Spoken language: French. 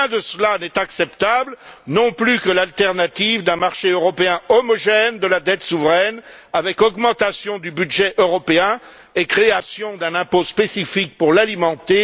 Rien de cela n'est acceptable, pas plus que l'alternative d'un marché européen homogène de la dette souveraine avec augmentation du budget européen et création d'un impôt spécifique pour l'alimenter.